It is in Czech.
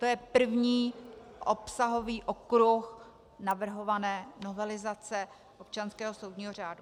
To je první obsahový okruh navrhované novelizace občanského soudního řádu.